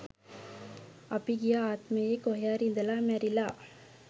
අපි ගිය ආත්මයේ කොහේ හරි ඉඳලා මැරිලා